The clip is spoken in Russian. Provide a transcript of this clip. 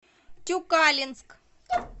тюкалинск